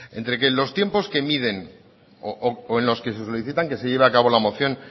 entre que los tiempos que miden o en los que se solicitan que lleve a cabo la moción